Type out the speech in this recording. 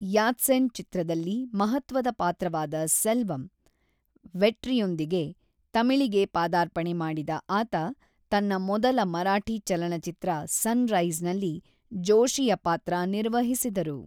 ಯಾತ್ಸೆನ್‌ ಚಿತ್ರದಲ್ಲಿ ಮಹತ್ವದ ಪಾತ್ರವಾದ ಸೆಲ್ವಂ/ ವೆಟ್ರಿಯೊಂದಿಗೆ ತಮಿಳಿಗೆ ಪಾದಾರ್ಪಣೆ ಮಾಡಿದ ಆತ ತನ್ನ ಮೊದಲ ಮರಾಠಿ ಚಲನಚಿತ್ರ ಸನ್‌ರೈಸ್‌ನಲ್ಲಿ ಜೋಶಿಯ ಪಾತ್ರ ನಿರ್ವಹಿಸಿದರು.